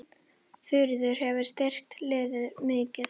Þuríður hefur styrkt liðið mikið.